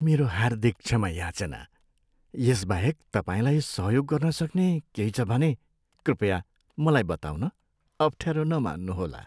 मेरो हार्दिक क्षमा याचना! यसबाहेक तपाईँलाई सहयोग गर्नसक्ने केही छ भने कृपया मलाई बताउन अफ्ठ्यारो नमान्नुहोला।